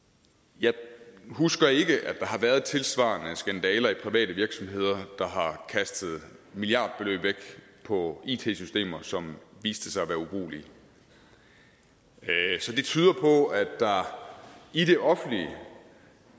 jeg husker ikke at der har været tilsvarende skandaler i private virksomheder der har kastet milliardbeløb væk på it systemer som viste sig at være ubrugelige så det tyder på at der i det offentlige